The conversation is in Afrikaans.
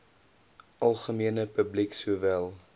algemene publiek sowel